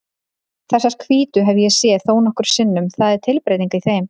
Þessar hvítu hef ég séð þónokkrum sinnum, það er tilbreyting í þeim.